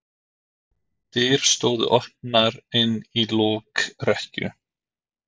Dyr stóðu opnar inn í lokrekkju.